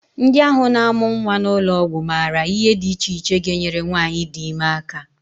Ndị ahụ na-amụ nnwa n'ụlọọgwụ maara ihe dị iche iche ga-enyere nwaanyị di ime aka